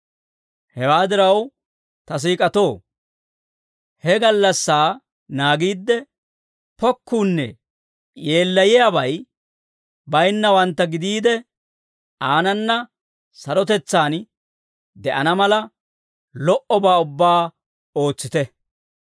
Hewaa diraw, ta siik'atoo, he gallassaa naagiidde, pokkuunne yeellayiyaabay bayinnawantta gidiide, aanana sarotetsaan de'ana mala lo"obaa ubbaa ootsite.